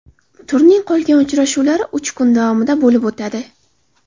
Turning qolgan uchrashuvlari uch kun davomida bo‘lib o‘tadi.